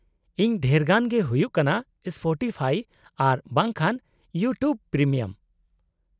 -ᱤᱧ ᱰᱷᱮᱨᱜᱟᱱ ᱜᱮ ᱦᱩᱭᱩᱜ ᱠᱟᱱᱟ ᱥᱯᱚᱴᱤᱯᱷᱟᱭ ᱟᱨ ᱵᱟᱝ ᱠᱷᱟᱱ ᱤᱭᱩᱴᱩᱵ ᱯᱨᱤᱢᱤᱭᱟᱢ ᱾